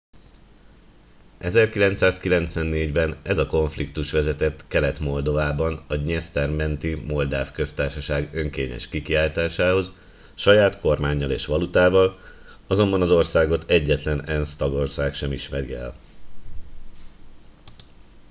1994 ben ez a konfliktus vezetett kelet moldovában a dnyeszter menti moldáv köztársaság önkényes kikiáltásához saját kormánnyal és valutával azonban az országot egyetlen ensz tagország sem ismeri el